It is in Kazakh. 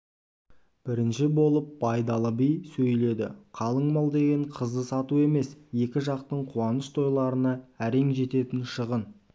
бірінші болып байдалы би сөйледіқалың мал деген қызды сату емес екі жақтың қуаныш-тойларына әрең жететін шығын